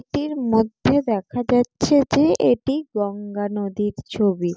এটির মধ্যে দেখা যাচ্ছে যে এটি গঙ্গা নদীর ছবি।